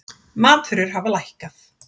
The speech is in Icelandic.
Matvörur hafa lækkað